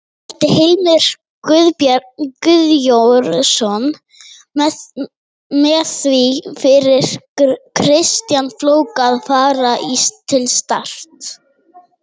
Mældi Heimir Guðjónsson með því fyrir Kristján Flóka að fara til Start?